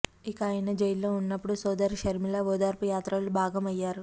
ఇక ఆయన జైల్లో వున్నప్పుడు సోదరి షర్మిల ఓదార్పు యాత్రలో భాగం అయ్యారు